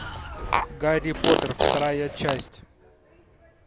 гарри поттер вторая часть